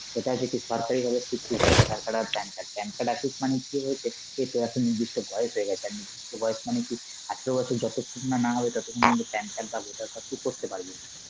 এটা সে কি সরকারি ভাবে স্বীকৃত voter card আর PAN card. PAN card আছিস মানে কি বলছে, যে তোর এখন নির্দিষ্ট বয়স হয়ে গেছে আর নির্দিষ্ট বয়স মানে তুই আঠারো বছর যতক্ষণ না না হবে ততক্ষণ কিন্তু PAN card বা voter card তুই করতে পারবি,